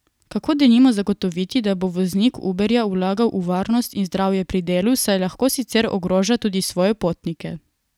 Kako denimo zagotoviti, da bo voznik Uberja vlagal v varnost in zdravje pri delu, saj lahko sicer ogroža tudi svoje potnike.